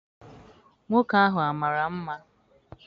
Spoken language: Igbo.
Nwoke ahụ amara mma?